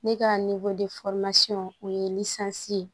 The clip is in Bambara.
Ne ka o ye ye